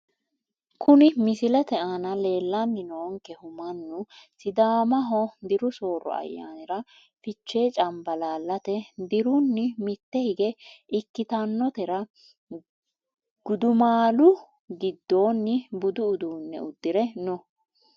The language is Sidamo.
Kuni misilete aana leelani noonkehu mannu sidaamaho diru sooro ayanira fichee canbalalate diruni mitte hige ikitanotera gudumaalu gidooni budu uduune udire no.